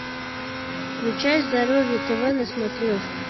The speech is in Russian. включай здоровье тв на смотрешке